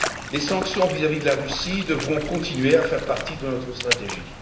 Les sanctions vis à vis de la Russie devront continuer à faire partie de notre stratégie.